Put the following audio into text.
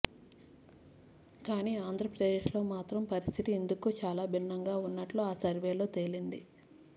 కానీ ఆంధ్రప్రదేశ్లో మాత్రం పరిస్థితి ఇందుకు చాలా భిన్నంగా ఉన్నట్లు ఆ సర్వేలో తేలింది